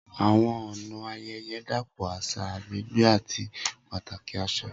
Awọn ọna ayẹyẹ dapọ aṣa, agbegbe, ati pataki aṣa.